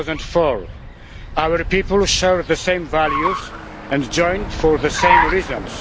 2004. Our people share the same values and joined for the same reasons.